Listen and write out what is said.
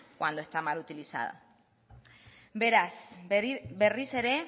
cuando está mal utilizada beraz berriz ere